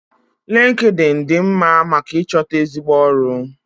Lịnkịdịịnị dị mma maka ịchọta ezigbo ọrụ.